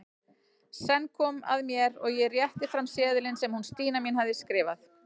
Senn kom að mér og ég rétti fram seðilinn sem hún Stína mín hafði skrifað.